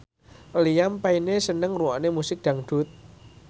Liam Payne seneng ngrungokne musik dangdut